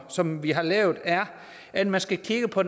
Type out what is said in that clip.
som vi har lavet er at man skal kigge på